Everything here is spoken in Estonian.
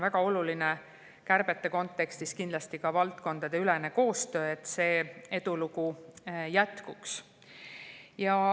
Väga oluline on kärbete kontekstis valdkondadeülene koostöö, et see edulugu jätkuks.